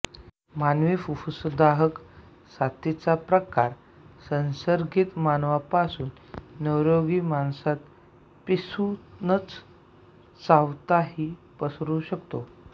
मानवी फुप्फुसदाहक साथीचा प्रकार संसर्गित माणसापासून निरोगी माणसात पिसू न चावताही पसरू शकतो